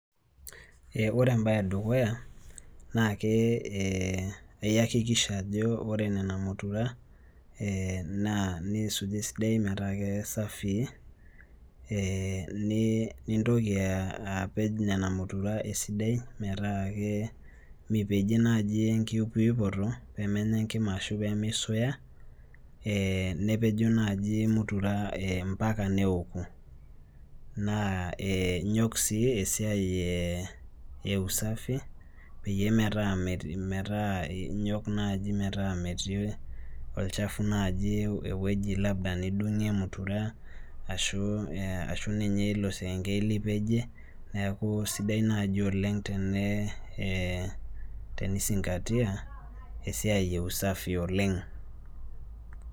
Eh ore embaye edukuya naake eh iyakikisha ajo ore nena mutura eh naa niisuj esidai metaa kesafii eh ni nintoki uh apej nena mutura esidai metaa ke mipejie naaji enkiyupuyupoto pemenya enkima ashu pemeisuya eh nepejo naaji mutura mpaka neoku naa eh inyok sii esiai eh e usafi peyie metaa metii metaa inyok naaji metaa metii olchafu naaji ewueji labda nidung'ie mutura ashu eh ashu ninye ilo sekengei lipejie neeku sidai naaji oleng tene eh tenisingatia esiai e usafi oleng.